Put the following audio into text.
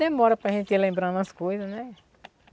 Demora para gente ir lembrando as coisas, né?